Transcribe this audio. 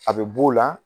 A bɛ b'o la